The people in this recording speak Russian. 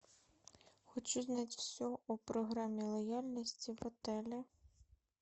хочу знать все о программе лояльности в отеле